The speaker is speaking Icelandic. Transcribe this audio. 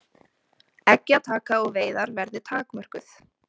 Eggjataka og veiðar verði takmörkuð